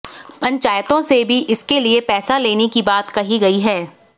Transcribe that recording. पंचायतों से भी इसके लिए पैसा लेने की बात कही गई है